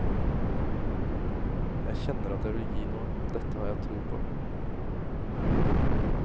Jeg kjenner at jeg vil gi noe, dette har jeg tro på.